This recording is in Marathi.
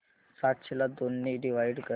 सातशे ला दोन ने डिवाइड कर